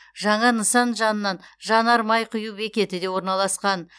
жаңа нысан жанынан жанар май құю бекеті де орналасқан